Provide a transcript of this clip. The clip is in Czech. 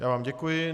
Já vám děkuji.